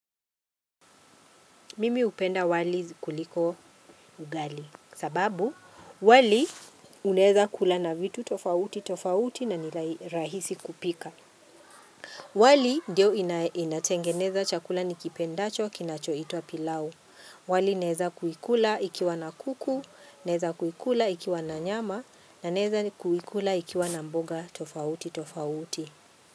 Mimi hupenda wali kuliko ugali sababu wali unaeza kula na vitu tofauti tofauti na nirahisi kupika. Wali ndio inatengeneza chakula nikipendacho kinachoitwa pilau. Wali naeza kuikula ikiwa na kuku, naeza kuikula ikiwa na nyama na naeza kuikula ikiwa na mboga tofauti tofauti.